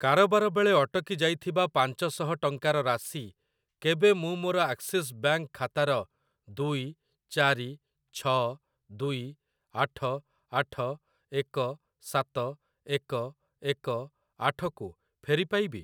କାରବାର ବେଳେ ଅଟକି ଯାଇଥିବା ପାଞ୍ଚ ଶହ ଟଙ୍କାର ରାଶି କେବେ ମୁଁ ମୋର ଆକ୍ସିସ୍ ବ୍ୟାଙ୍କ୍‌ ଖାତାର ଦୁଇ ଚାରି ଛ ଦୁଇ ଆଠ ଆଠ ଏକ ସାତ ଏକ ଏକ ଆଠ କୁ ଫେରି ପାଇବି?